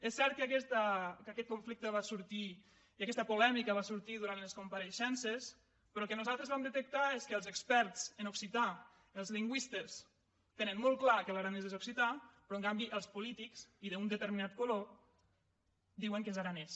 és cert que aquest conflicte va sortir i aquesta polè·mica va sortir durant les compareixences però el que nosaltres vam detectar és que els experts en occità els lingüistes tenen molt clar que l’aranès és occità però en canvi els polítics i d’un determinat color diuen que és aranès